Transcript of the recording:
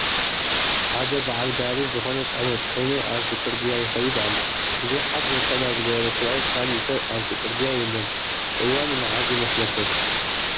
ሓደ በዓል ጋሪ ዝኾነ ፅሕነት ፂዒኑ ኣብቲ ፅርግያ ይኸይድ ኣሎ፡፡ ብዘይ ሓደ ነፀላ ዝገበረ ሰብኣይ ካሊእ ሰብ ኣብቲ ፅርግያ የለን፡፡ እዋኑ ማዓዝ ይመስለኩም?